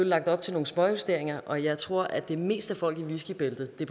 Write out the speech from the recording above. lagt op til nogle småjusteringer og jeg tror at det mest er folk i whiskybæltet det